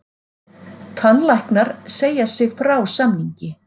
Tannlæknar segja sig frá samningi